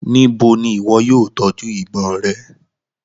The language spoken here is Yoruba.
Nibo ni iwọ yóò tọju ibon rẹ?